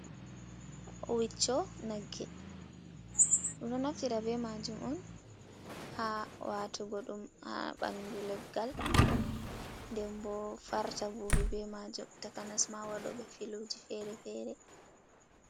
Wiccho nagge ɗum ɗo naftira be majum on ha watugo ɗum ha ɓandu leggal, den bo farta bubi be majum takanasma waɗo ɓe filuji fere-fere.